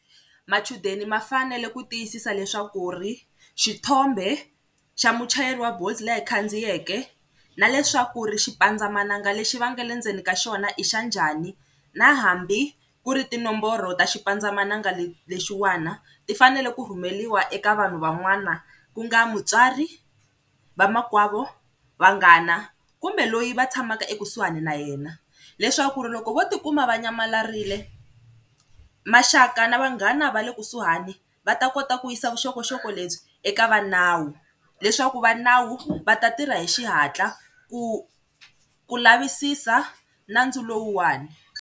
Machudeni ma fanele ku tiyisisa leswaku ri xithombe xa muchayeri wa bolt leyi a yi khandziyeke na leswaku ri xipandzamananga lexi va nga le ndzeni ka xona i xa njhani, na hambi ku ri tinomboro ta xipandzamananga lexiwana ti fanele ku rhumeliwa eka vanhu van'wana ku nga mutswari, vamakwavo, vanghana kumbe loyi va tshamaka ekusuhani na yena leswaku ri loko vo tikuma va nyamalarile maxaka na vanghana va le kusuhani va ta kota ku yisa vuxokoxoko lebyi eka va nawu leswaku va nawu va ta tirha hi xihatla ku ku lavisisa nandzu lowuwani.